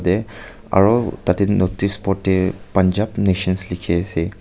yate aro tate notice board teh punjab nations likhi ase.